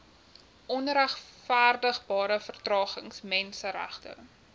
onregverdigbare vertragings menseregte